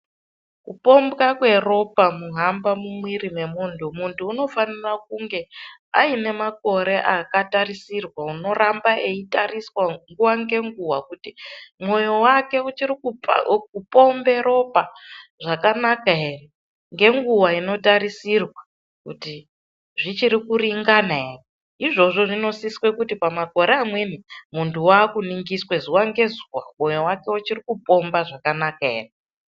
Kupombwa kweropa kuhamba mumwiri mwemunhu muntu unofanire kunge aine makore akatarisirwa unoramba eitariswa nguwa ngenguwa kuti mwoyo wake uchiri kupombe ropa zvakanaka ere ngenguwa inotarisirwa kuti zvichirikuringana ere izvozvo zvinosise kuti pamakore amweni munhu wakuningiswe zuwa ngezuwa moyo wake uchiri kupomba zvakanaka ere.